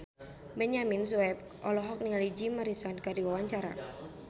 Benyamin Sueb olohok ningali Jim Morrison keur diwawancara